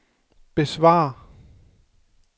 besvar